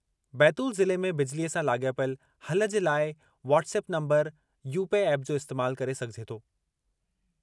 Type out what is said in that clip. बैतूल ज़िले में बिजलीअ सां लाॻापियल हल जे लाइ वॉटसेप नम्बर यूपे एप जो इस्तेमाल करे सघिजे थो।